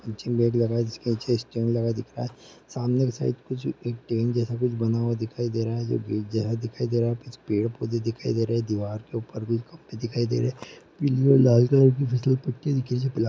जिसके नीचे स्ट्रिंग लगा दिख रहा है सामने की साइड कुछ एक ट्रेन जैसा कुछ बना हुआ दिखाई दे रहा है जो ब्रिज जैसा दिखाई दे रहा है कुछ पेड़ पौधे दिखाई दे रहे है दीवार के ऊपर कुछ कपड़े दिखाई दे रहे है पीली और लाल कलर की फिसलपट्टी दिखाई दे रही है।